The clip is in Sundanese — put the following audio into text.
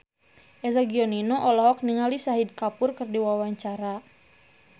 Eza Gionino olohok ningali Shahid Kapoor keur diwawancara